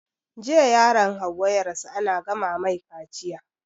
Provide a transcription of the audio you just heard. Jiya yaron hauwa ya rasu ana gama mai kaciya